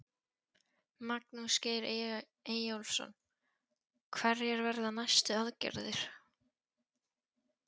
Magnús Geir Eyjólfsson: Hverjar verða næstu aðgerðir?